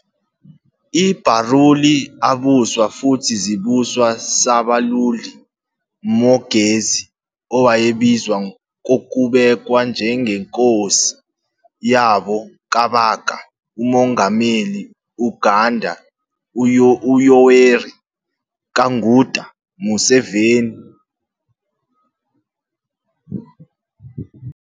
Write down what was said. I Baruuli abuswa futhi zibuswa Ssabaluuli Mwogezi, owayebizwa kokubekwa njengeNkosi yabo Kabaka umongameli Uganda uYoweri Kaguta Museveni.